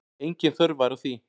Engin þörf væri á því.